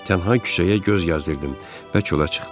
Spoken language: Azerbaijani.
Tənha küçəyə göz yazdırdım və çölə çıxdım.